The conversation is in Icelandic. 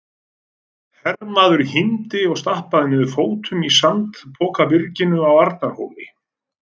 Hermaður hímdi og stappaði niður fótum í sandpokabyrginu á Arnarhóli.